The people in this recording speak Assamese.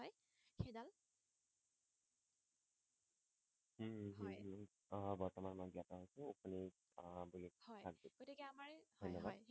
আহ বৰ্তমান মই জ্ঞাত হৈছো হয় গতিকে আমাৰ হয় হয় ধন্যবাদ